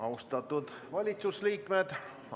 Austatud valitsusliikmed!